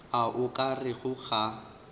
a o ka rego ga